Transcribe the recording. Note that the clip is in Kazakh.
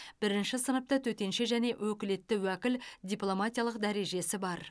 бірінші сыныпты төтенше және өкілетті уәкіл дипломатиялық дәрежесі бар